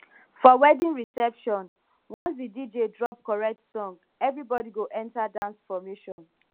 for wedding reception once the dj drop correct song everybody go enter dance formation